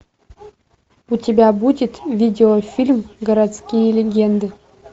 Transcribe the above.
у тебя будет видеофильм городские легенды